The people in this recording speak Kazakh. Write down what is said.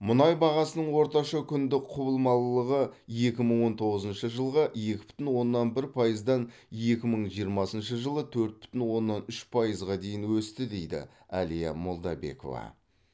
мұнай бағасының орташа күндік құбылмалылығы екі мың он тоғызыншы жылғы екі бүтін оннан бір пайыздан екі мың жиырмасыншы жылы төрт бүтін оннан үш пайызға дейін өсті дейді әлия молдабекова